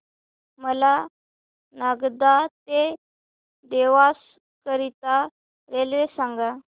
मला नागदा ते देवास करीता रेल्वे सांगा